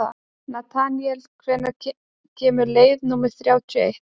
Natanael, hvenær kemur leið númer þrjátíu og eitt?